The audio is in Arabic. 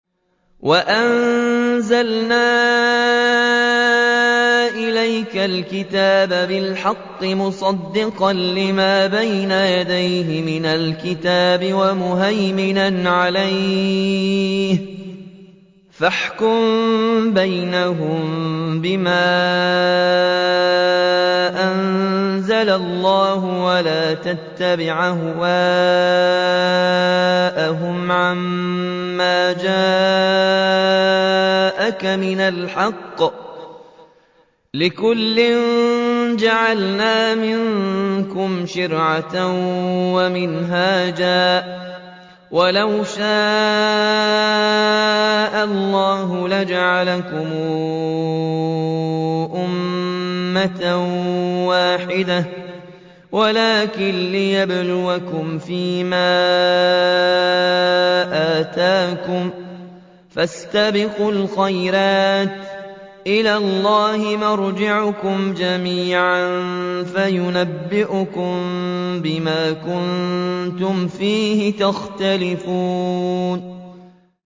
وَأَنزَلْنَا إِلَيْكَ الْكِتَابَ بِالْحَقِّ مُصَدِّقًا لِّمَا بَيْنَ يَدَيْهِ مِنَ الْكِتَابِ وَمُهَيْمِنًا عَلَيْهِ ۖ فَاحْكُم بَيْنَهُم بِمَا أَنزَلَ اللَّهُ ۖ وَلَا تَتَّبِعْ أَهْوَاءَهُمْ عَمَّا جَاءَكَ مِنَ الْحَقِّ ۚ لِكُلٍّ جَعَلْنَا مِنكُمْ شِرْعَةً وَمِنْهَاجًا ۚ وَلَوْ شَاءَ اللَّهُ لَجَعَلَكُمْ أُمَّةً وَاحِدَةً وَلَٰكِن لِّيَبْلُوَكُمْ فِي مَا آتَاكُمْ ۖ فَاسْتَبِقُوا الْخَيْرَاتِ ۚ إِلَى اللَّهِ مَرْجِعُكُمْ جَمِيعًا فَيُنَبِّئُكُم بِمَا كُنتُمْ فِيهِ تَخْتَلِفُونَ